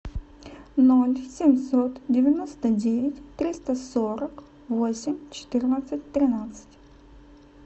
ноль семьсот девяносто девять триста сорок восемь четырнадцать тринадцать